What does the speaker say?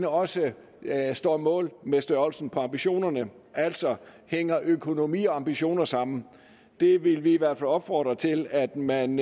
også står mål med størrelsen på ambitionerne altså hænger økonomi og ambitioner sammen vi vil i hvert fald opfordre til at man